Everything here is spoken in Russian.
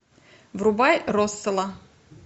врубай росселла